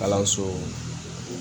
Kalanso